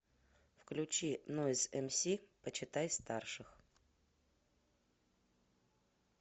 включи нойз эмси почитай старших